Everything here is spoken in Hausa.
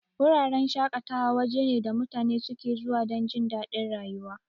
Wuraren shaƙatawa waje ne da mutane suke zuwa dan jindadin rayuwa.